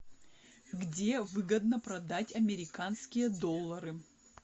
где выгодно продать американские доллары